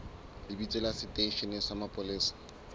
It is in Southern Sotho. lebitso la seteishene sa mapolesa